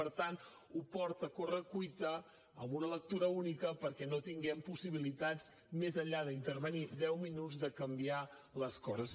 per tant ho porta a corre cuita amb una lectura única perquè no tinguem possibilitats més enllà d’intervenir deu minuts de canviar les coses